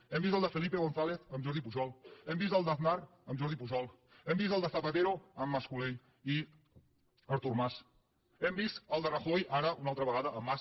hem vist el de felipe gonzález amb jordi pujol hem vist el d’aznar amb jordi pujol hem vist el de zapatero amb mas colell i artur mas hem vist el de rajoy ara una altra vegada amb mas